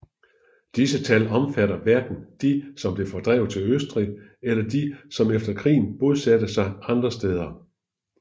Disse tal omfatter hverken de som blev fordrevet til Østrig eller de som efter krigen bosatte sig andre steder